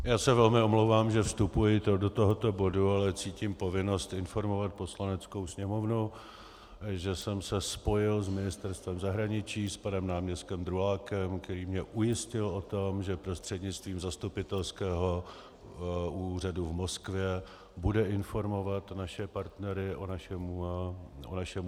Já se velmi omlouvám, že vstupuji do tohoto bodu, ale cítím povinnost informovat Poslaneckou sněmovnu, že jsem se spojil s Ministerstvem zahraničí, s panem náměstkem Drulákem, který mě ujistil o tom, že prostřednictvím Zastupitelského úřadu v Moskvě bude informovat naše partnery o našem usnesení.